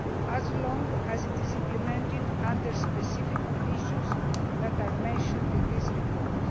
as along as it is implemented under specific conditions that are mentioned in this report.